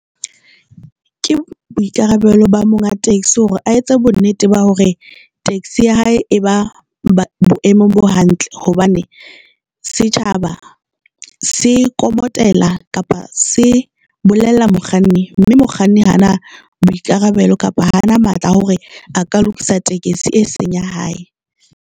Ke boikarabelo ba monga taxi hore a etse bonnete ba hore taxi ya hae e ba boemong bo hantle hobane setjhaba se komotela kapa se bolella mokganni, mme mokganni ha ana boikarabelo kapa ha ana matla hore a ka lokisa tekesi e seng ya hae.